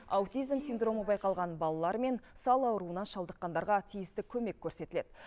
аутизм синдромы байқалған балалар мен сал ауруына шалдыққандарға тиісті көмек көрсетіледі